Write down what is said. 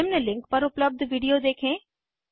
निम्न लिंक पर उपलब्ध विडिओ देखें